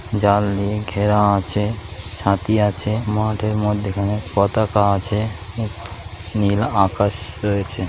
জাল দিয়ে ঘেরা আছে সাথী আছে মাঠের মধ্যেখানে পতাকা আছে নী নীল আকাশ রয়েছে ।